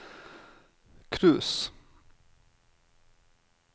cruise